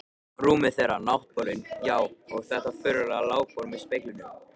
Rúmið þeirra, náttborðin, já, og þetta furðulega lágborð með speglunum.